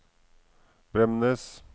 Bremnes